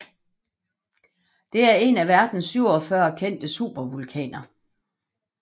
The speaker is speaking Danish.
Det er en af verdens 47 kendte supervulkaner